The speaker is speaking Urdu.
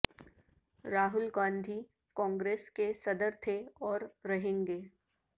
راہول گاندھی کانگریس کے صدر تھے اور رہیں گے